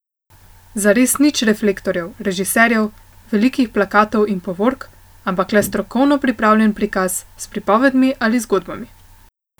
Zares nič reflektorjev, režiserjev, velikih plakatov in povork, ampak le strokovno pripravljen prikaz s pripovedmi ali zgodbami.